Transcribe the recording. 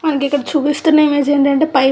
మనకిక్కడ చూస్తున్న ఇమేజ్ ఏంటంటే పై --